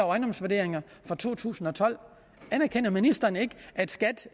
ejendomsvurderinger for to tusind og tolv anerkender ministeren ikke at skat